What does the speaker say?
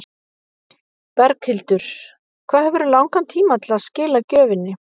Berghildur: Hvað hefurðu langan tíma til að skila gjöfinni?